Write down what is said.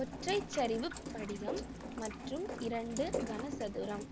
ஒற்றைச்சரிவுப் படிகம் மற்றும் இரண்டு கனசதுரம்